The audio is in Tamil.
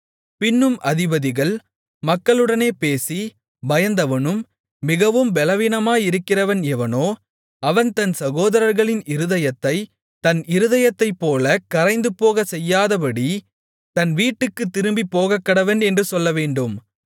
பின்னும் அதிபதிகள் மக்களுடனே பேசி பயந்தவனும் மிகவும் பெலவீனமாயிருக்கிறவன் எவனோ அவன் தன் சகோதரர்களின் இருதயத்தைத் தன் இருதயத்தைப்போலக் கரைந்துபோகச்செய்யாதபடி தன் வீட்டுக்குத் திரும்பிப் போகக்கடவன் என்று சொல்லவேண்டும்